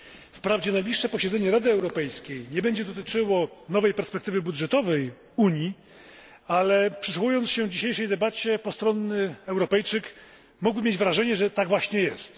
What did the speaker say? Wprawdzie najbliższe posiedzenie Rady Europejskiej nie będzie dotyczyło nowej perspektywy budżetowej Unii, ale przysłuchując się dzisiejszej debacie, postronny Europejczyk mógłby mieć wrażenie, że tak właśnie jest.